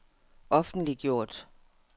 offentliggjort